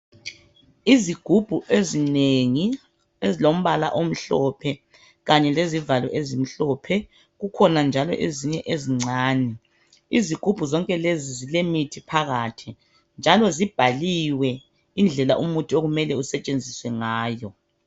Izigubhu ezinengi ezilombala omhlophe kanye lezivalo ezimhlophe kukhona njalo ezinye ezincane izigubhu zonke lezi zilemithi phakathi njalo zibhaliwe indlela umuthi okumele usetshenziswe ngayo.